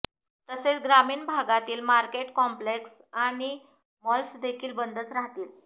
तसेच ग्रामीण भागांतील मार्केट कॉम्पेलेक्स आणि मॉल्सदेखील बंदच राहतील